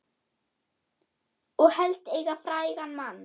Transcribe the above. Og helst eiga frægan mann.